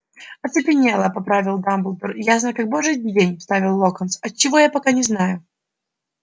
оцепенела поправил дамблдор ясно как божий день вставил локонс от чего я пока не знаю